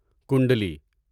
کنڈلی